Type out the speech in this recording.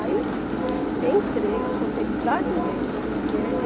Aí, entrei, não contei para ninguém, né?